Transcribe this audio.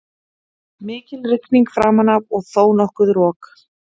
Mikil rigning framan af og þónokkuð rok.